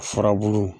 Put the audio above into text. Furabulu